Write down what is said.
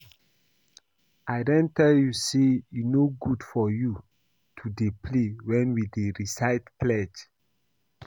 I don tell you say e no good for you to dey play wen we dey recite pledge